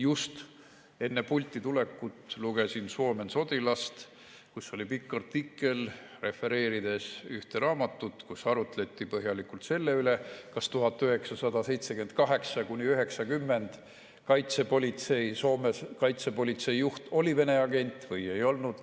Just enne pulti tulekut lugesin Suomen Sotilast, kus oli pikk artikkel, refereeriti ühte raamatut, kus arutleti põhjalikult selle üle, kas 1978–1990 oli Soome kaitsepolitsei juht Vene agent või ei olnud.